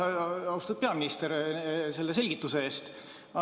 Aitäh, austatud peaminister, selle selgituse eest!